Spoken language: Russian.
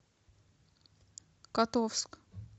котовск